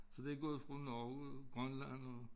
Så det gået fra Norge Grønland og